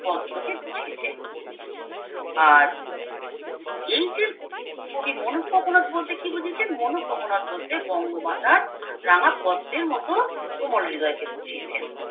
পদ্মকে বুঝিছেন আর এই যে কবি মনোকোকোনদ বলতে কি বুঝিয়েছেন মনোককনাদ বলতে বঙ্গমাতার রাঙ্গাপদ্মের মতো কোমল হৃদয় কে বুঝিয়াছেন